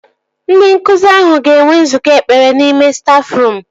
Ndị nkụzi ahụ ga-enwe nzukọ ekpere n'ime stafruum